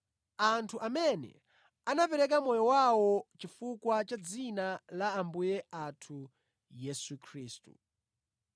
anthu amene anapereka moyo wawo chifukwa cha dzina la Ambuye athu Yesu Khristu.